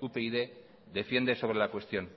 upyd defiende sobre la cuestión